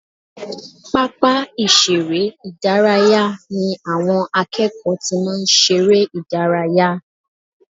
Pápá ìṣeré ìdárayá ni àwọn akẹ́kọ̀ọ́ ti máa ń ṣeré ìdárayá